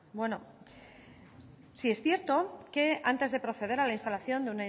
bueno sí es cierto que antes de proceder a la instalación